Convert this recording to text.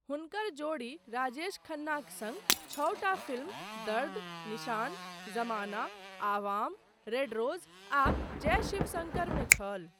हुनकर जोड़ी राजेश खन्नाक सङ्ग छओटा film Dard, Nishan, Zamana, Awam, red rose, आ जय शिवशङ्कर मे छल।